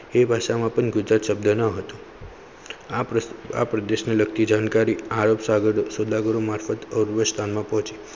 તે ભાષા માં ગુજરાત શબદ ન હતો આ પ્રદેશને લગતી જાણકારી આરોપ સોદાગરો મારફતે ઔરવસ્થામાં પહોંચે.